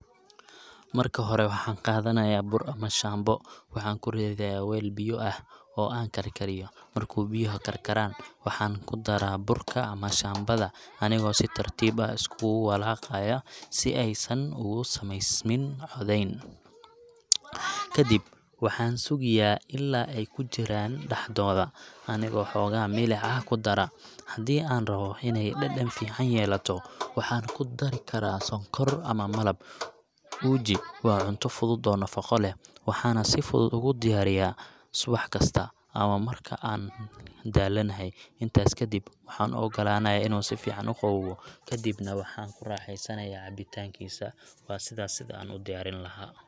Marka hore, waxaan qaadanayaa bur ama shaambo. Waxaan ku ridayaa weel biyo ah oo aan karkariyo. Marka biyuhu karkaraan, waxaan ku daraa burka ama shaambada, anigoo si tartiib ah u isku walaaqaya si aysan ugu samaysmin codayn. Kadib, waxaan sugiyaa ilaa ay ku jiraan dhexdooda, anigoo xoogaa milix ah ku dara. Haddii aan rabbo inay dhadhan fiican yeelato, waxaan ku dari karaa sonkor ama malab. Uji waa cunto fudud oo nafaqo leh, waxaana si fudud ugu diyaariyaa subax kasta ama marka aan daalanahay. Intaas kadib, waxaan u ogolaanayaa inuu si fiican u qaboobo, ka dibna waxaan ku raaxaystaa cabbitaankiisa ,waa sidaas sida aan u diyaarin lahaa.